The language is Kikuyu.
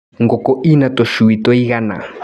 Ngũkũ ina tũcui tũigana.